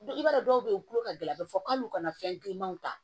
I b'a dɔn dɔw be yen u tulo ka gɛlɛn a bi fɔ k'alu kana fɛn grinman ta